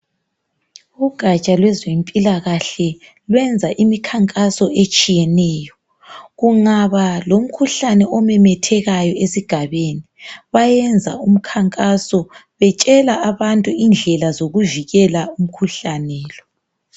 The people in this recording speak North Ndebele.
Ugaja lwezempilakahle lwenza imikhankaso etshiyeneyo kungaba lomkhuhlane omemethekayo esigabeni bayenza umkhankaso betshela abantu indlela zokuvikela umkhuhlane lo.